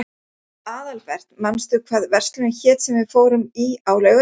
Aðalbert, manstu hvað verslunin hét sem við fórum í á laugardaginn?